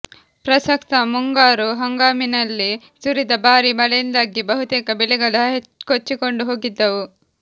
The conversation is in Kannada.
ಪ್ರಸಕ್ತ ಮುಂಗಾರು ಹಂಗಾಮಿನಲ್ಲಿ ಸುರಿದ ಭಾರಿ ಮಳೆಯಿಂದಾಗಿ ಬಹುತೇಕ ಬೆಳೆಗಳು ಕೊಚ್ಚಿಕೊಂಡು ಹೋಗಿದ್ದವು